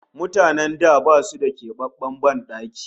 Mutanen da basu da kebabben ban daki